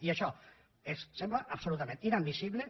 i això ens sembla absolutament inadmissible